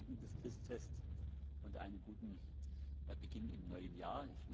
Ein gesegnetes Christfest und einen guten Beginn im neuen Jahr.